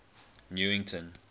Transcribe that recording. newington